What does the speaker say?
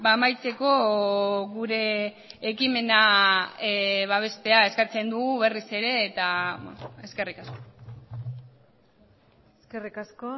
amaitzeko gure ekimena babestea eskatzen dugu berriz ere eta eskerrik asko eskerrik asko